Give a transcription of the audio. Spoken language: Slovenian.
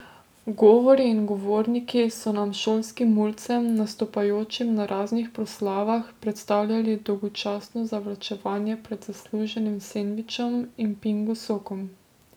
Govori in govorniki so nam, šolskim mulcem, nastopajočim na raznih proslavah, predstavljali dolgočasno zavlačevanje pred zasluženim sendvičem in pingo sokom.